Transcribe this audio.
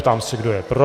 Ptám se, kdo je pro.